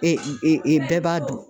bɛɛ b'a dun.